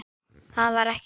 Það var ekki gert.